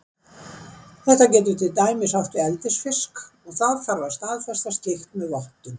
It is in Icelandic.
Þetta getur til dæmis átt við eldisfisk og þá þarf að staðfesta slíkt með vottun.